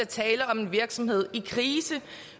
tale om en virksomhed i krise